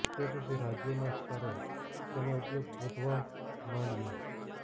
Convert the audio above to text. તે પછી રાજ્યોના સ્તરે તેનો ઉપયોગ વધવા માંડ્યો